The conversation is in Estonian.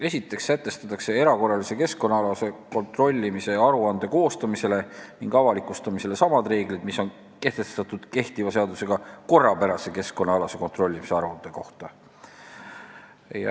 Esiteks sätestatakse erakorralise keskkonnaalase kontrollimise aruande koostamisele ning avalikustamisele samad reeglid, mis on kehtiva seadusega kehtestatud korrapärase keskkonnaalase kontrollimise aruande kohta.